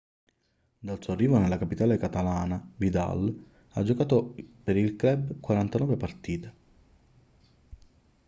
dal suo arrivo nella capitale catalana vidal ha giocato per il club 49 partite